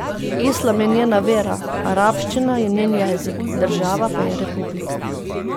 Islam je njena vera, arabščina je njen jezik, država pa je republika.